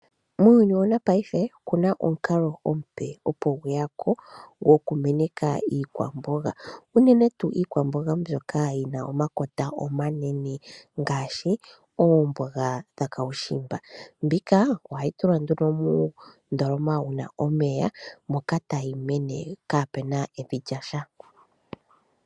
Muuyuni wanakanena, okuna omukalo omupe opo gweyapo gokumeneka iikwamboga, uunene tuu iikwamboga mbyoka yina omakota omanene ngaashi oomboga dhuushimba. Monika ohayi tulwa nduno muundoloma wuna omeya , moka tayi mene kaapuna evi lyasha.